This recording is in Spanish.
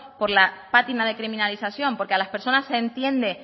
por pátina de criminalización porque las personas entienden